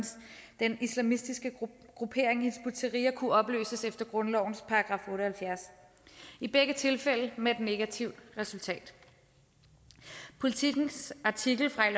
den islamistiske gruppering hizb ut tahrir kunne opløses efter grundlovens § otte og halvfjerds i begge tilfælde med et negativt resultat politikens artikel fra i